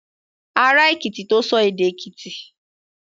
Ará Èkìtì tó sọ èdè Èkìtì.